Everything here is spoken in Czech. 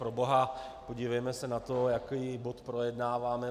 Proboha, podívejme se na to, jaký bod projednáváme.